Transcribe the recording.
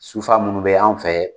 Sufa munnu be anw fɛ